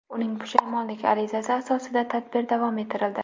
Uning pushaymonlik arizasi asosida tadbir davom ettirildi.